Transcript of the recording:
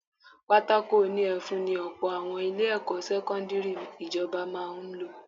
Pátákó òní ẹfun ni ọ̀pọ̀ àwọn ilé-ẹ̀kọ́ sẹ́kọ́ndírì ìjọba máa ń lò